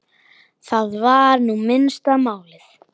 Það var nú minnsta málið.